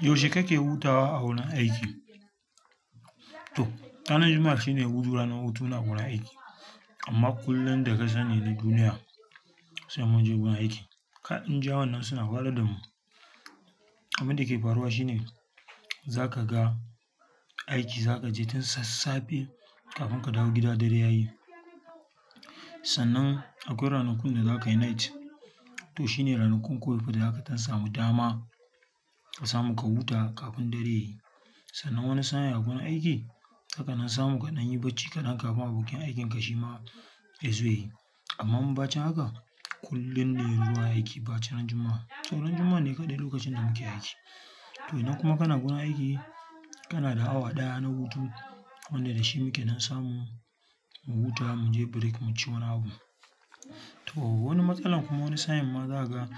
Yaushe kake hutawa a wurin aiki? To ranar Juma'a shine hutu, ranar hutu na agurin aiki. Amma kullum da kasani na duniya sai mun je gun aiki. Kai india wan nan suna wahalar damu. Abin dake faruwa shine zakaga aiki, zaka je tun sassafe kafin ka dawo gida dare yayi. Sannan akwai ranakun da zaka yi night to shine ranakun kawai da zaka ɗan samu dama ka samu ka huta kafin dare yayi. Sannan wani sa'in a gurin aiki, zaka ɗan samu ka ɗanyi bacci kaɗan kafin abokinka aikinka shima yazo yayi. Amma mu bacin haka kullum ne zuwa aiki face ranar Juma'a. To ranar Juma'a ne kaɗai lokacin da muke aiki. To idan kuma kana gurin aiki kanada hour ɗaya na hutu wanda dashi muke ɗan samu mu huta, mu je break mu ci wani abu. To wani matsalan kuma wani sa'in ma zakaga